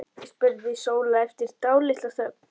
spurði Sóla eftir dálitla þögn.